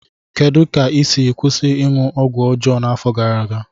Kedu ka ị si kwụsị ịṅụ ọgwụ ọjọọ n'afọ gara aga?